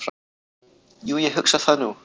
"""Jú, ég hugsa það nú."""